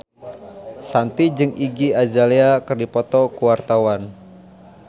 Shanti jeung Iggy Azalea keur dipoto ku wartawan